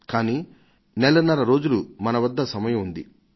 కానీ మన వద్ద నెలన్నర రోజులు సమయం ఉంది